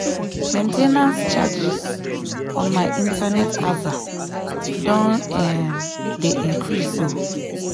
main ten ance charges on my internet aza don um dey increase o